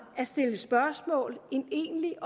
at stille spørgsmål end egentlig